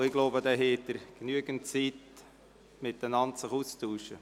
Sie werden dann genügend Zeit haben, um sich auszutauschen.